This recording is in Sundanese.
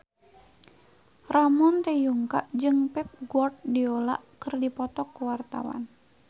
Ramon T. Yungka jeung Pep Guardiola keur dipoto ku wartawan